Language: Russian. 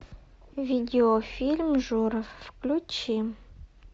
видеофильм жора включи